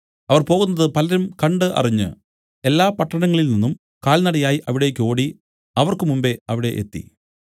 അവർ പോകുന്നത് പലരും കണ്ട് അറിഞ്ഞ് എല്ലാ പട്ടണങ്ങളിൽനിന്നും കാൽനടയായി അവിടേക്ക് ഓടി അവർക്ക് മുമ്പെ അവിടെ എത്തി